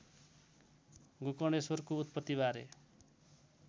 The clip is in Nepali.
गोकर्णेश्वरको उत्पत्तिबारे